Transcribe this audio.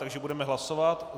Takže budeme hlasovat.